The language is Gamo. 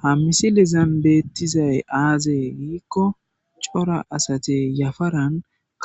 Ha misilezan beetizays aze gikon cora asati yafaran